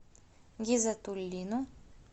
гизатуллину